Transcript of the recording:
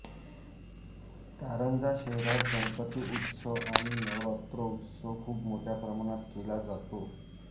कारंजा शहरात गणपती उत्सव आणि नवरात्रौत्सव खूप मोठ्या प्रमाणात केला जातो